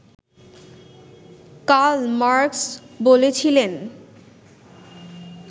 কাল মার্কস বলেছিলেন